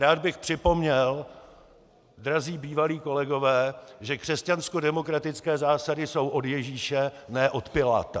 Rád bych připomněl, drazí bývalí kolegové, že křesťanskodemokratické zásady jsou od Ježíše, ne od Piláta!